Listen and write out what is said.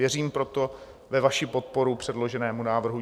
Věřím proto ve vaši podporu předloženému návrhu.